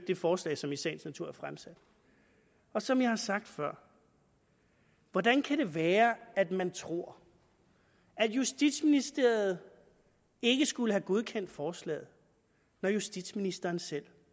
det forslag som i sagens natur er fremsat som jeg har sagt før hvordan kan det være at man tror at justitsministeriet ikke skulle have godkendt forslaget når justitsministeren selv